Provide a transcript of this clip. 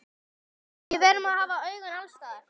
Við verðum að hafa augun alls staðar.